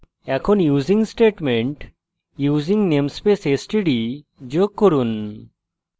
এখন using statement যোগ করুন